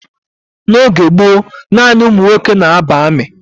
N'oge gboo, nanị ụmụ nwoke na ba armi